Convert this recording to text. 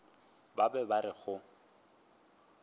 ba be ba re go